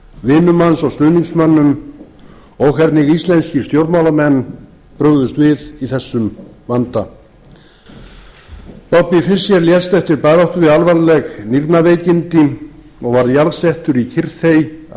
vinum hans og stuðningsmönnum og hvernig íslenskir stjórnmálamenn brugðust við í þessum vanda bobby fischer lést eftir baráttu við alvarleg nýrnaveikindi og var jarðsettur í kyrrþey að eigin ósk